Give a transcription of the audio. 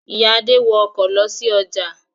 Ìyá Adé wọ ọkọ̀ lọ sí ọjà.